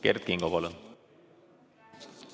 Kert Kingo, palun!